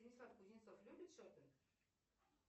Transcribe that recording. станислав кузнецов любит шопинг